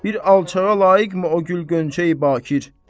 Bir alçağa layiqmi o gül qönçəyi Baqir?